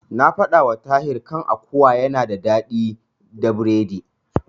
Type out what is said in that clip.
Na faɗawa Tahir kan akuwa yana daɗi da biredi.